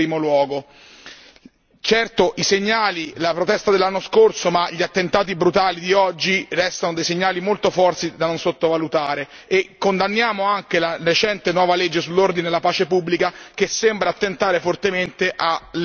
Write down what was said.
Certo i segnali, la protesta dell'anno scorso, ma gli attentati brutali di oggi restano dei segnali molto forti da non sottovalutare e condanniamo anche la recente nuova legge sull'ordine e la pace pubblica che sembra attentare fortemente alla libertà dei social network.